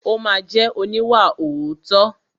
Ó ma jẹ́ oníwàòótọ́.